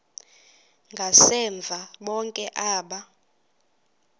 ngasemva bonke aba